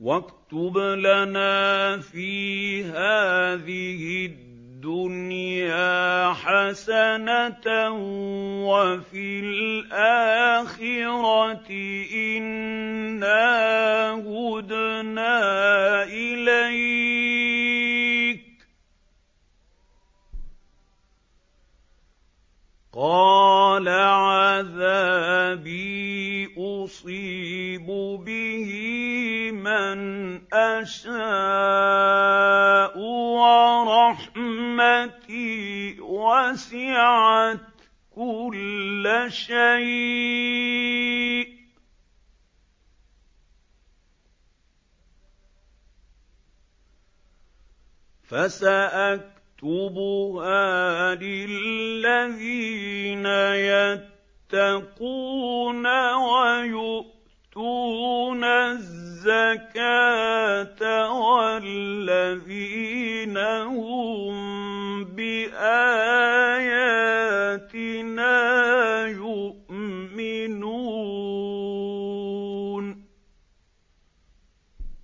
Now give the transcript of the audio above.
وَاكْتُبْ لَنَا فِي هَٰذِهِ الدُّنْيَا حَسَنَةً وَفِي الْآخِرَةِ إِنَّا هُدْنَا إِلَيْكَ ۚ قَالَ عَذَابِي أُصِيبُ بِهِ مَنْ أَشَاءُ ۖ وَرَحْمَتِي وَسِعَتْ كُلَّ شَيْءٍ ۚ فَسَأَكْتُبُهَا لِلَّذِينَ يَتَّقُونَ وَيُؤْتُونَ الزَّكَاةَ وَالَّذِينَ هُم بِآيَاتِنَا يُؤْمِنُونَ